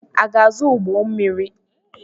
Ọ ga-azụ ụgbọ mmiri?